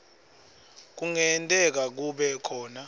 kungenteka kube khona